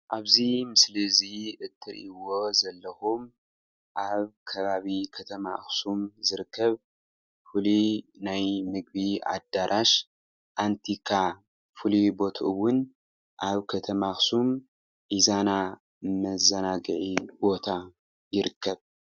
አብዚ ምስሊ እዚ እትሪእዎ ዘለኩም አብ ከባቢ ከተማ አክሱም ዝርከብ ፉሉይ ናይ ምግቢ አዳራሽ አንቲካ ፍሉይ ቦትኡ እውን አብ ከተማ አክሱም ኢዛና መዘናግዒ ቦታ ይርከብ።